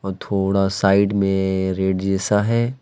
थोड़ा साइड में रेड जैसा है।